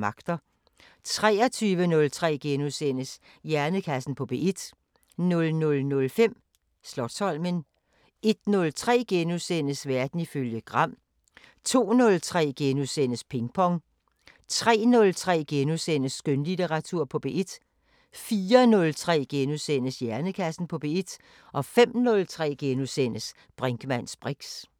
23:03: Hjernekassen på P1 * 00:05: Slotsholmen 01:03: Verden ifølge Gram * 02:03: Ping Pong * 03:03: Skønlitteratur på P1 * 04:03: Hjernekassen på P1 * 05:03: Brinkmanns briks *